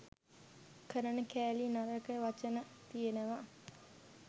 කරන කෑලි නරක වචන තියෙනවා